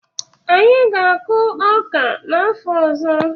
Anyị ga-akụ ọka n'afọ ọzọ.